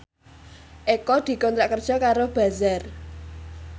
Eko dikontrak kerja karo Bazaar